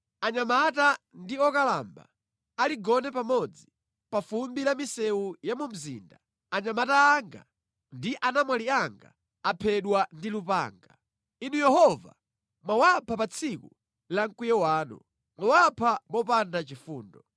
Anyamata ndi okalamba aligone pamodzi pa fumbi la mʼmisewu ya mu mzinda; anyamata anga ndi anamwali anga aphedwa ndi lupanga. Inu Yehova mwawapha pa tsiku la mkwiyo wanu; mwawapha mopanda chifundo.